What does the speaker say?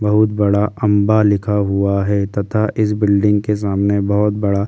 बहुत बड़ा अंबा लिखा हुआ है तथा इस बिल्डिंग के सामने बहुत बड़ा ।